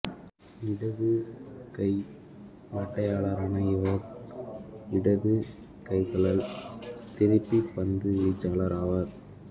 இடதுகை மட்டையாளரான இவர் இடதுகை கழல் திருப்பப் பந்துவீச்சாளர் ஆவார்